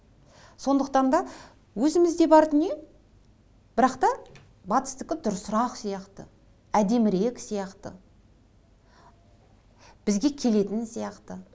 сондықтан да өзімізде бар дүние бірақ та батыстікі дұрысырақ сияқты әдемірек сияқты бізге келетін сияқты